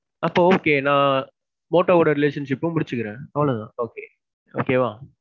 அப்போ okay. நான் motto ஓட relationship ப முடிச்சிக்கிறேன். அவ்வளவு தான் okay okay வா?